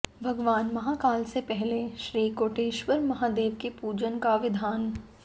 भगवान महाकाल से पहले श्री कोटेश्वर महादेव के पूजन का विधान